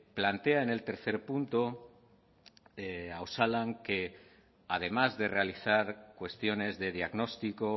plantea en el punto tres a osalan que además de realizar cuestiones de diagnóstico